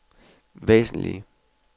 væsentlige